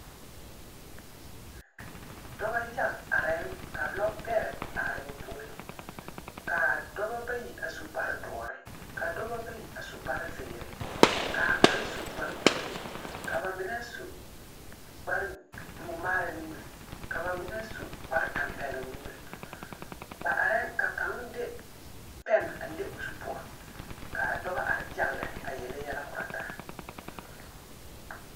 Dɔba yaga areŋ ka lɔɔ beɛre are ba puoriŋ, kaa dɔba bayi su kpaar dɔre, ka dɔba bayi su kpaar zeɛre, kaa kaŋa su kpaar blue, ka ba mine su mɔɔmaara nimiri, ka ba mine su kpaar tempɛloŋ nimir ba areŋ ka kaŋa de pɛn a le o zu poɔ kaa dɔba are yaga lɛ a yeli yɛlɛ korɔ taa